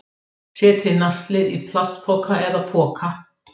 Setjið naslið í plastbox eða poka